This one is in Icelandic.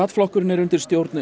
flokkurinn er undir stjórn